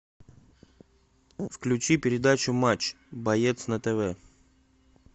включи передачу матч боец на тв